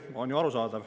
See on ju arusaadav.